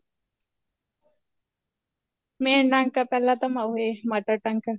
main ਟਾਂਕਾ ਪਹਿਲਾਂ ਤਾਂ ਮਾਉ ਰੇ mother ਟਾਂਕਾ